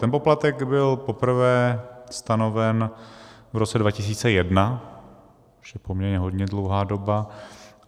Ten poplatek byl poprvé stanoven v roce 2001, to už je poměrně hodně dlouhá doba.